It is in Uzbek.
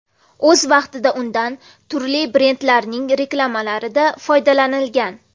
O‘z vaqtida undan turli brendlarning reklamalarida foydalanilgan.